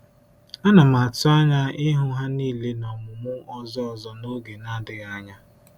Ana m atụ anya ịhụ ha niile n’ọmụmụ ọzọ ọzọ n’oge na-adịghị anya.